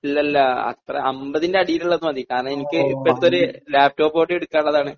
ഇല്ലല്ലോ. അത്ര 50 -ന്റെ അടിയിൽ ഉള്ളത് മതി. കാരണം, എനിക്ക് ഇപ്പോഴത്തെ ഒരു ലാപ്ടോപ്പ് കൂടി എടുക്കാൻ ഉള്ളതാണ്.